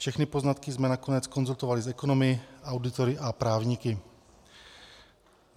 Všechny poznatky jsme nakonec konzultovali s ekonomy, auditory a právníky.